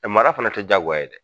Mara fana tɛ jaagoya ye dɛ.